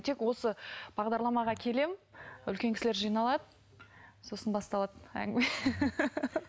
тек осы бағдарламаға келемін үлкен кісілер жиналады сосын басталады әңгіме